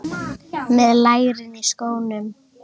Með lærin í skónum.